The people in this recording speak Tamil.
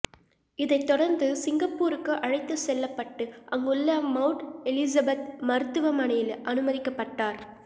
இதைதொடர்ந்து சிங்கப்பூருக்கு அழைத்து செல்லப்பட்டு அங்குள்ள மவுண்ட் எலிசபெத் மருத்துவமனையில் அனுமதிக்கப்பட்டார்